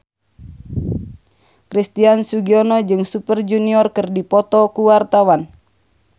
Christian Sugiono jeung Super Junior keur dipoto ku wartawan